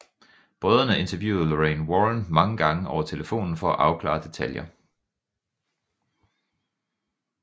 Brødrene interviewede Lorraine Warren mange gange over telefonen for at afklare detaljer